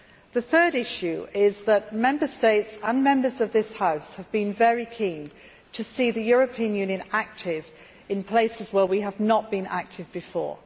The third issue is that Member States and Members of this House have been very keen to see the European Union active in places where we have not been active before.